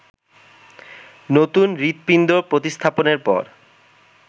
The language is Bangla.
নতুন হৃদপিণ্ড প্রতিস্থাপনের পর